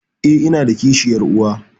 Eh, inada kishiyar uwa?